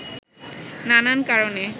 নানান কারণে